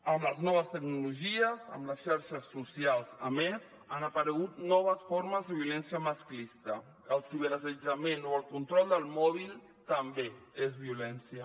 amb les noves tecnologies amb les xarxes socials a més han aparegut noves formes de violència masclista el ciberassetjament o el control del mòbil també és violència